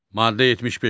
Maddə 75.